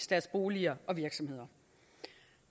deres boliger og virksomheder